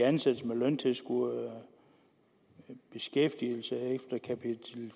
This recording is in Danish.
ansættelse med løntilskud beskæftigelse efter kapitel